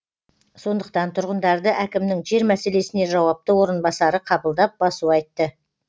сондықтан тұрғындарды әкімнің жер мәселесіне жауапты орынбасары қабылдап басу айтты